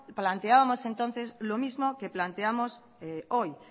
planteábamos entonces lo mismo que planteamos hoy